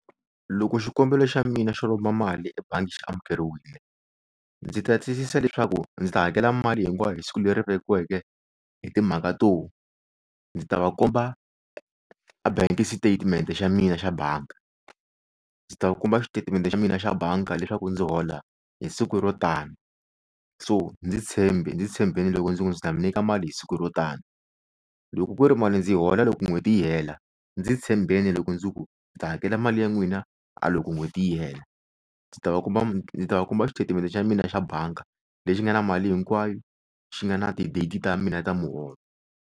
Loko xikombelo xa mina xo lomba mali ebangi xi amukeriwile ndzi ta tiyisisa leswaku ndzi ta hakela mali hinkwayo hi siku leri vekiweke hi timhaka to ndzi ta va komba a bank statement xa mina xa banka ndzi ta kuma xitatimede xa mina xa banka leswaku ndzi hola hi siku ro tani so ndzi tshembi ndzi tshembeni loko ndzi ku ndzi ta mi nyika mali hi siku ro tani loko ku ri mali ndzi yi hola loko n'hweti yi hela ndzi tshembeni loko ndzi ku ndzi ta hakela mali ya n'wina a loko n'hweti yi hela ndzi ta va komba ndzi ta va komba xitetimende xa mina xa banka lexi nga na mali hinkwayo xi nga na ti-date ta mina yi ta muholo.